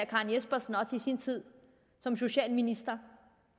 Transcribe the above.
karen jespersen også i sin tid som socialminister